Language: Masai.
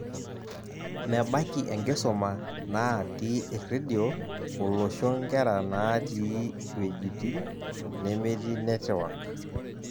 Mebaiki enkisuma naati erradio olosho nkera naati wejitin nemetii netwak.